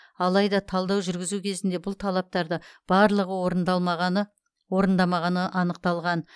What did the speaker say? алайда талдау жүргізу кезінде бұл талаптарды барлығы орындамағаны анықталған